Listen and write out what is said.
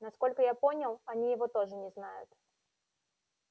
насколько я понял они его тоже не знают